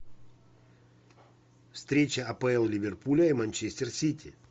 встреча апл ливерпуля и манчестер сити